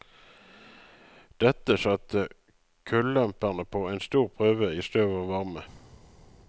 Dette satte kullemperne på en stor prøve i støv og varme.